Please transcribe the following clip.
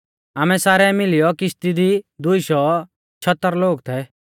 आमै सारै मिलियौ किश्ती दी दुई शौ छियतर लोग थै